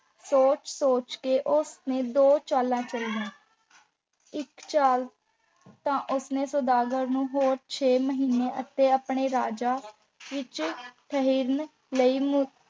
ਸੋਚ-ਸੋਚ ਕੇ ਉਸ ਨੇ ਦੋ ਚਾਲਾਂ ਚੱਲੀਆਂ ਇੱਕ ਚਾਲ ਤਾਂ ਉਸ ਨੇ ਸੁਦਾਗਰ ਨੂੰ ਹੋਰ ਛੇ ਮਹੀਨੇ ਅਤੇ ਆਪਣੇ ਰਾਜਾਂ ਵਿੱਚ ਠਹਿਰਨ ਲਈ ਮ